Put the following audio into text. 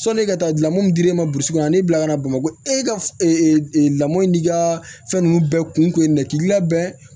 Sɔnni ka taa lamɔ min dira e ma burusikɔnɔ a n'i bila ka na bamakɔ e ka lamɔ in n'i ka fɛn nunnu bɛɛ kun ye nin kɛ k'i labɛn